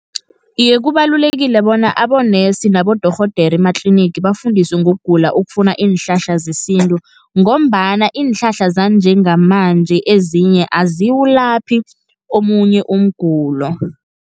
Iye, kubalulekile bona abonesi nabodorhodere ematlinigi, bafundiswe ngokugula okufuna iinhlahla zesintu, ngombana iinhlahla zanjengamanje ezinye aziwulaphi omunye umgulo.